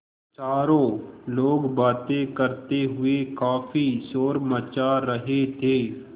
चारों लोग बातें करते हुए काफ़ी शोर मचा रहे थे